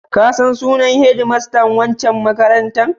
Ka san sunan hedmastan waccan makarantar?